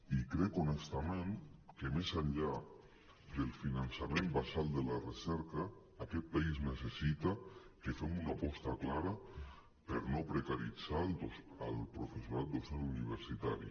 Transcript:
i crec honestament que més enllà del finançament basal de la recerca aquest país necessita que fem una aposta clara per no precaritzar el professorat docent universitari